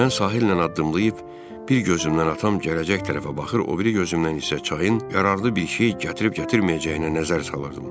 Mən sahillə addımlayıb, bir gözümdən atam gələcək tərəfə baxır, o biri gözümdən isə çayın yararlı bir şey gətirib-gətirməyəcəyinə nəzər salırdım.